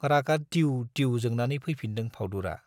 रागा दिउ दिउ जोंनानै फैफिनदों फाउदुरा।